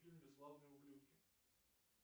фильм бесславные ублюдки